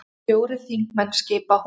Fjórir þingmenn skipa hópinn.